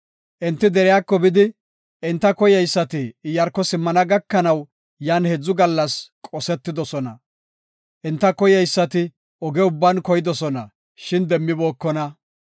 Enti deriyako bidi, enta koyeysati Iyaarko simmana gakanaw yan heedzu gallas qosetidosona. Enta koyeysati oge ubban koydosona, shin demmibookona.